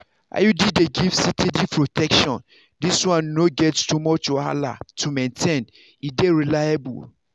iud dey give steady protection this one no get to much wahala to maintain e dey reliable.